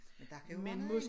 Men der kan jo være noget andet